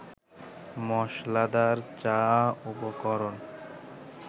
মসলাদার চা উপকরণ